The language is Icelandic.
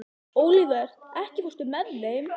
Olivert, ekki fórstu með þeim?